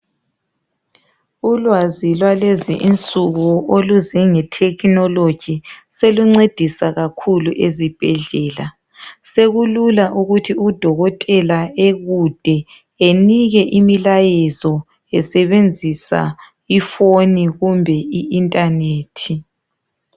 Ulwazi lwalezi insuku oluze ngethekhinoloji solunceda kakhulu ezibhedlela. Sekulula ukuthi udokotela ekude enike imilayezo esebenzisa iphone kumbe internet.